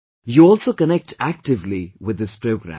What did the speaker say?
You also connect actively with this programme